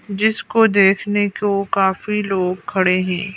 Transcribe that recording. जिसको देखने को काफी लोग खड़े है।